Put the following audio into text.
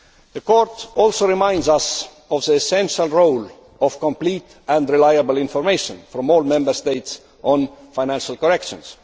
The Court also reminds us of the essential role of complete and reliable information from all Member States on financial corrections.